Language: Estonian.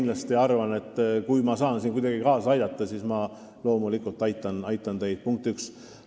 Ma arvan, et kui ma saan siin kuidagi kaasa aidata, siis ma loomulikult aitan teid, punkt üks.